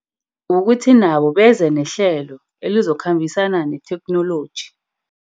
Kukuthi nabo beze nehlelo elizokhambisana netheknoloji.